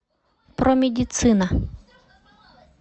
промедицина